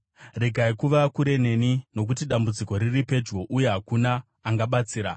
Regai kuva kure neni, nokuti dambudziko riri pedyo uye hakuna angabatsira.